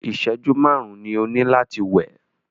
ìṣẹ̀jú márùn ni o ní láti wẹ̀!